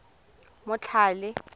motlhale